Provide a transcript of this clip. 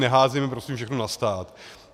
Neházejme prosím všechno na stát.